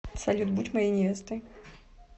салют будь моей невестой